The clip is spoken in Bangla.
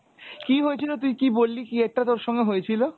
কি হয়েছিল তুই কি বললি কি একটা তোর সঙ্গে হয়েছিল?